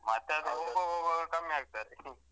ಮತ್ತೆ ಕಮ್ಮಿ ಆಗ್ತಾರೆ.